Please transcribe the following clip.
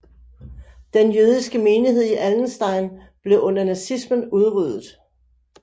Den jødiske menighed i Allenstein blev under nazismen udryddet